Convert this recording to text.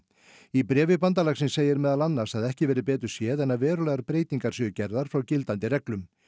í bréfi bandalagsins segir meðal annars að ekki verði betur séð en að verulegar breytingar séu gerðar frá gildandi reglum